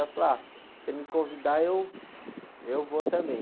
Ela falou, ah, se você me convidar, eu, eu vou também.